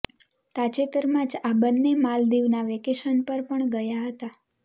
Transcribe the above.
તાજેતરમાં જ આ બન્ને માલદીવના વેકેશન પર પણ ગયા હતાં